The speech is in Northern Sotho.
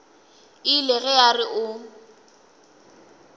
ile ge a re o